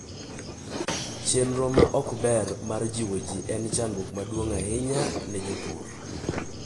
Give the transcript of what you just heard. Chenro ma ok ber mar jiwo ji en chandruok maduong' ahinya ne jopur.